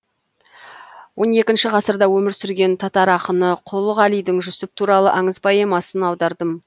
он екінші ғасырда өмір сүрген татар ақыны құл ғалидың жүсіп туралы аңыз поэмасын аудардым